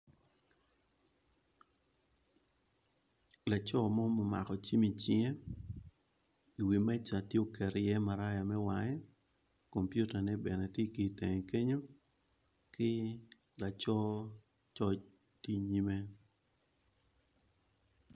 Laco mo ma omako cim i cinge i wi meca tye oketo ye maraya me wange kompita ne bene tye ki itenge kenyo ki laco coc tye inyime.